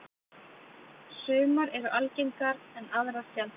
Sumar eru algengar en aðrar sjaldgæfari.